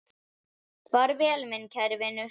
Far vel, minn kæri vinur.